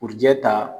Kurujɛ ta